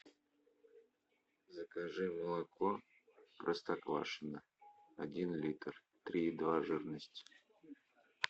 закажи молоко простоквашино один литр три и два жирности